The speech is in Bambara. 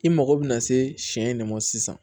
I mago bɛ na se sɛ de ma sisan